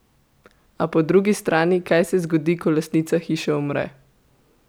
A po drugi strani, kaj se zgodi, ko lastnica hiše umre?